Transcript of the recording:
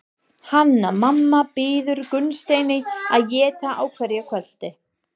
Hanna-Mamma býður Gunnsteini að éta á hverju kvöldi.